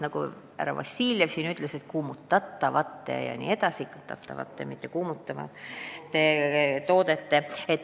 Nagu härra Vassiljev ütles, jutt on siis kuumutatavatest, mitte kuumutavatest toodetest.